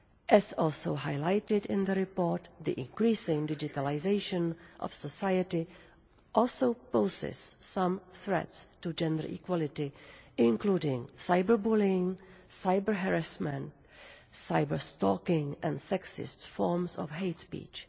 As also highlighted in the report, the increasing digitalisation of society also poses some threats to gender equality, including cyber-bullying, cyber-harassment, cyber-stalking and sexist forms of hate speech.